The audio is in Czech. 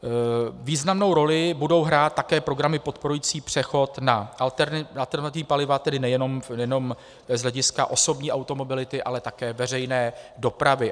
Významnou roli budou hrát také programy podporující přechod na alternativní paliva, tedy nejenom z hlediska osobní automobility, ale také veřejné dopravy.